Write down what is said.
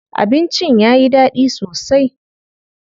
Abincin yayi daɗi sosai.